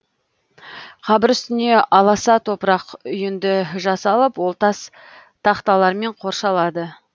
қабір үстіне аласа топырақ үйінді жасалып ол тас тақталармен қоршалады